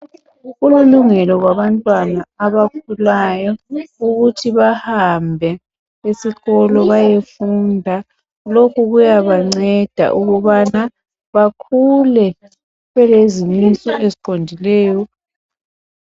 Kulilungelo labantwana abakhulayo ukuthi bahambe esikolo bayefunda. Lokhu kuyabanceda ukubana bakhule belezimiso eziqondileyo